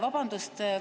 Vabandust!